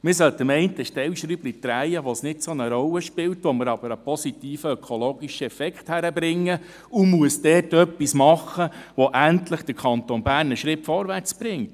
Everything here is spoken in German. Man sollte an einem Stellschräubchen drehen, wo es keine grosse Rolle spielt, wo wir aber einen positiven ökologischen Effekt hinkriegen, und dort etwas machen, wo es der Kanton Bern endlich einen Schritt vorwärts bringt.